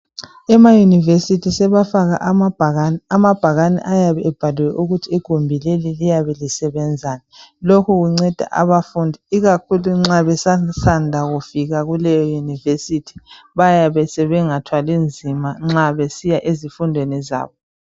Ema university sebafaka amabhakani ayabe ebhaliwe ukuthi igumbii leli liyabe lisebenzani lokho kunceda abafundi ikakhulu nxa besasanda kufika kuleyo university, bayabe sebengathwali nzima nxa besiya ezifundweni zabo.